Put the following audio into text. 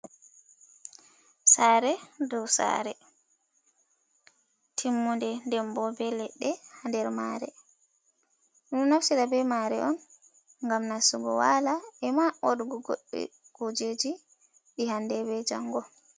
Saare dou saare timmude ndembo be leɗɗe haa nder maare. Ɗum ɗo naftira be maare on ngam nastugo waala, e ma waɗugo goɗɗe kujeji, ɗi hande be janngo.